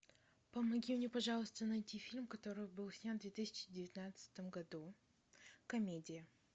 помоги мне пожалуйста найти фильм который был снят в две тысячи девятнадцатом году комедия